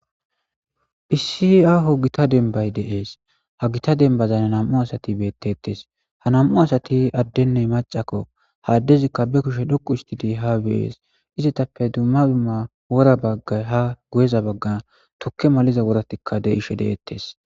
issi aaho gita denbay de'ees ha gita denbazan nam7u asati beettettes ha nam7u asati addenne macakko ha addezikka be kushe dhoqu istidi ha bees izetappe dumma dumma wora baggay ha gu7eza baggan tokke maliza woratikka de'ishe de'ettes